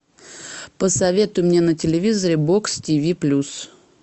посоветуй мне на телевизоре бокс тиви плюс